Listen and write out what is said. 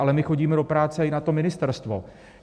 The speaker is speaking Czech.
Ale my chodíme do práce i na to ministerstvo!